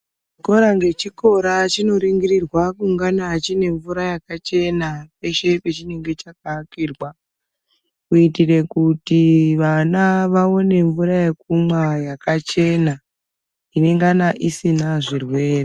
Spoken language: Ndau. Chikora ngechikora chinoringirirwa kungana chine mvura yakachena peshe pechinonga chakaakirwa kuitira kuti vana vaone mvura yekumwa yakachena inengana isina zvirwere.